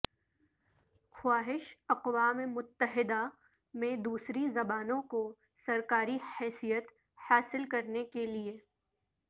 خواہش اقوام متحدہ میں دوسری زبانوں کو سرکاری حیثیت حاصل کرنے کے لئے